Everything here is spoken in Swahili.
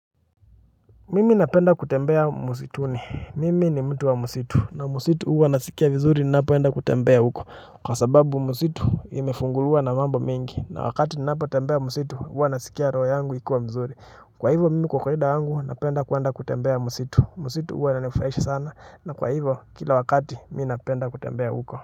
Mimi napenda kutembea msituni. Mimi ni mtu wa msitu. Na msitu huwa nasikia vizuri ninapoenda kutembea huko. Kwa sababu msitu imefunguliwa na mambo mengi. Na wakati ninapotembea msitu huwa nasikia roho yangu ikiwa mzuri. Kwa hivo mimi kwa kawaida yangu napenda kwenda kutembea msitu. Msitu huwa inanifurahisha sana. Na kwa hivo kila wakati mi napenda kutembea huko.